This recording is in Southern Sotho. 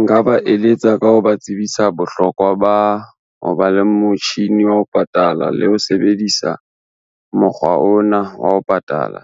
Nka ba eletsa ka ho ba tsebisa bohlokwa ba ho ba le motjhini wa ho patala le ho sebedisa, mokgwa ona wa ho patala.